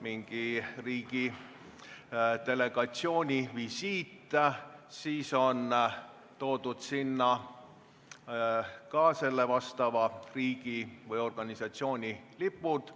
mingi riigi delegatsiooni visiit, siis on toodud sinna ka konkreetse riigi või organisatsiooni lipud.